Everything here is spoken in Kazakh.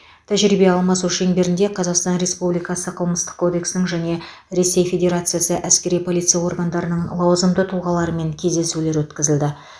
тәжірибе алмасу шеңберінде қазасқтан республикасы қылмыстық кодексінің және ресей федерациясы әскери полиция органдарының лауазымды тұлғаларымен кездесулер өткізілді